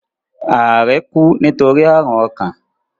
Ààrẹ kú nítorí àrùn ọkàn.